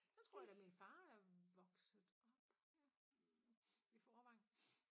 Der tror jeg da min far er vokset op i Vorrevangen